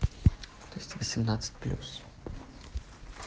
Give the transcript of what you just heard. тесты восемнадцать плюс